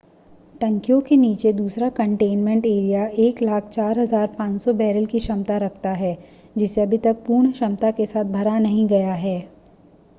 टंकियों के नीचे दूसरा कंटेनमेंट एरिया 104,500 बैरल की क्षमता रखता है जिसे अभी तक पूर्ण क्षमता के साथ भरा नहीं गया है